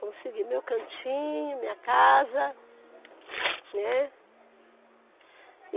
Consegui meu cantinho, minha casa, né?